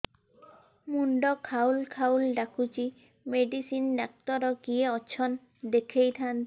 ମୁଣ୍ଡ ଖାଉଲ୍ ଖାଉଲ୍ ଡାକୁଚି ମେଡିସିନ ଡାକ୍ତର କିଏ ଅଛନ୍ ଦେଖେଇ ଥାନ୍ତି